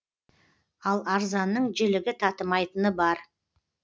ал арзанның жілігі татымайтыны бар